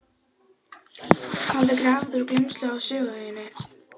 hafði grafið úr gleymsku á Sögueyjunni.